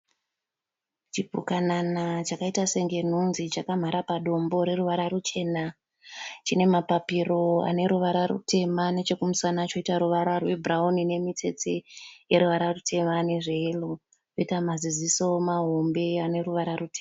Chipukanana chakaita senge nhunzi chakamhara padombo reruvara ruchena. Chine mapapiro aneruvara rutema nechekumasana choita ruvara rwebhurauni nemitsitse yeruvara rutema nezveyero, choita maziziso mahombe aneruvara rutema.